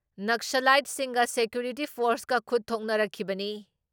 ꯅꯛꯁꯂꯥꯏꯠꯁꯤꯡꯒ security ꯐꯣꯔꯁꯀ ꯈꯨꯠ ꯊꯣꯛꯅꯔꯛꯈꯤꯕꯅꯤ ꯫